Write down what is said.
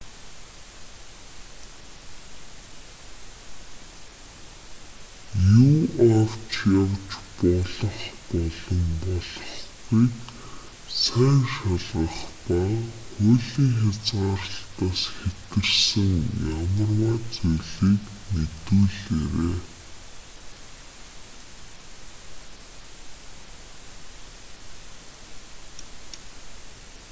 юу авч явж болох болон болохгүйг сайн шалгах ба хуулийн хязгаарлалтаас хэтэрсэн ямарваа зүйлийг мэдүүлээрэй